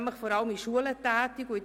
Sie ist vor allem in Schulen tätig.